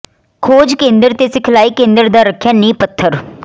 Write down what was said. ਖੋਜ ਕਂਦਰ ਤ ਸਿਖਲਾਈ ਕਂਦਰ ਦਾ ਰੱਖਿਆ ਨੀਂਹ ਪੱਥਰ